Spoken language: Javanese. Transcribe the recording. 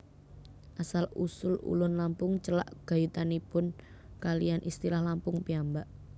Asal usul Ulun Lampung celak gayutanipun kaliyan istilah Lampung piyambak